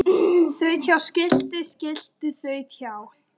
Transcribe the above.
Þaut hjá skilti skilti þaut hjá